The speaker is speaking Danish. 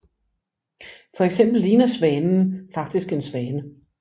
Fx ligner Svanen faktisk en svane